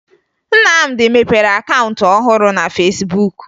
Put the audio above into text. Nnamdị mepere akaụntụ ọhụrụ na Fesbuk